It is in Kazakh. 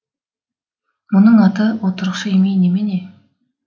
мұның аты отырықшы емей немене